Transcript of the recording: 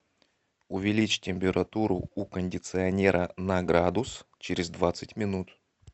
увеличь температуру у кондиционера на градус через двадцать минут